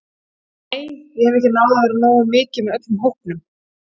Nei, ég hef ekki náð að vera nógu mikið með öllum hópnum.